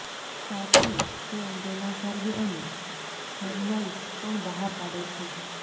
સાથે તે અંગેના સરવે અને જર્નલ્સ પણ બહાર પાડે છે